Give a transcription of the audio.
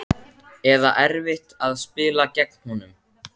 Eða erfitt að spila gegn honum?